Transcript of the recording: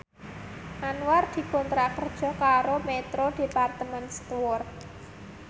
Anwar dikontrak kerja karo Metro Department Store